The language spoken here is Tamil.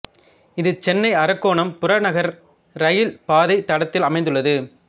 இது சென்னை அரக்கோணம் புறநகர் ரயில் பாதை தடத்தில் அமைந்துள்ளது